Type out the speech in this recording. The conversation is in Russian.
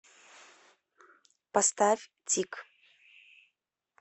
поставь тик